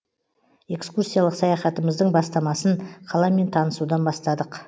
экскурсиялық саяхатымыздың бастамасын қаламен танысудан бастадық